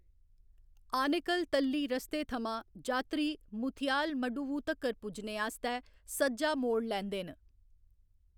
आनेकल तल्ली रस्ते थमां, जात्तरी मुथियालमडुवु तक्कर पुज्जने आस्तै सज्जा मोड़ लैंदे न।